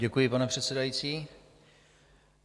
Děkuji, pane předsedající.